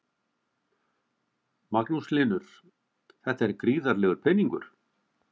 Magnús Hlynur: Þetta er gríðarlegur peningur?